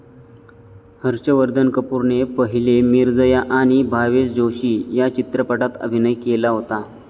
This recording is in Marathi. हर्षवर्धन कपूरने पहिले मिर्जया आणि भावेश जोशी या चित्रपटात अभिनय केला होता.